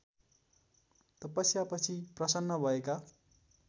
तपस्यापछि प्रसन्न भएका